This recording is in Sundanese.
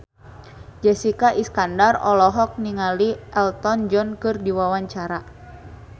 Jessica Iskandar olohok ningali Elton John keur diwawancara